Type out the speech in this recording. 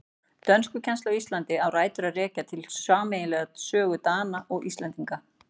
Dönskukennsla á Íslandi á rætur að rekja til sameiginlegrar sögu Dana og Íslendinga.